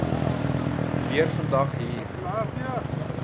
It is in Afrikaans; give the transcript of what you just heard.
weer vandag hier